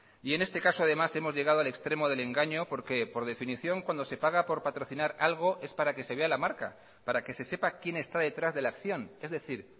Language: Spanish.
y en este caso además hemos llegado al extremo del engaño porque por definición cuando se paga por patrocinar algo es para que se vea la marca para que se sepa quién está detrás de la acción es decir